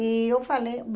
E eu falei,